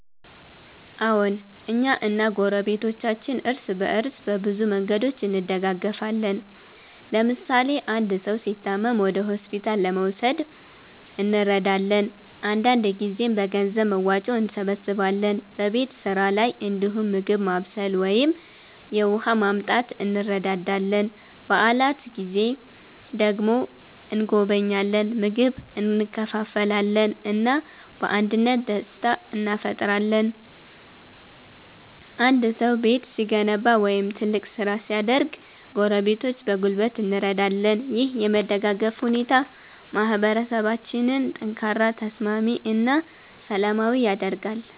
አዎን፣ እኛ እና ጎረቤቶቻችን እርስ በእርስ በብዙ መንገዶች እንደጋገፋለን። ለምሳሌ አንድ ሰው ሲታመም ወደ ሆስፒታል ለመውሰድ እንረዳለን፣ አንዳንድ ጊዜም በገንዘብ መዋጮ እንሰብስባለን። በቤት ስራ ላይ እንዲሁም ምግብ ማብሰል ወይም የውሃ ማመጣት እንረዳዳለን። በዓላት ጊዜ ደግሞ እንጎበኛለን፣ ምግብ እንካፈላለን እና በአንድነት ደስታ እንፈጥራለን። አንድ ሰው ቤት ሲገነባ ወይም ትልቅ ስራ ሲያደርግ ጎረቤቶች በጉልበት እንረዳለን። ይህ የመደጋገፍ ሁኔታ ማህበረሰባችንን ጠንካራ፣ ተስማሚ እና ሰላማዊ ያደርጋል።